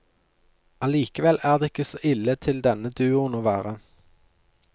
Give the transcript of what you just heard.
Allikevel er det ikke så ille til denne duoen å være.